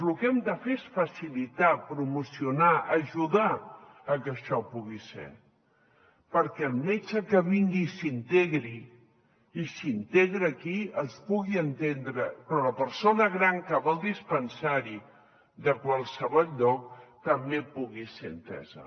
lo que hem de fer és facilitar promocionar ajudar a que això pugui ser perquè el metge que vingui i s’integri i s’integra aquí es pugui entendre però la persona gran que va al dispensari de qualsevol lloc també pugui ser entesa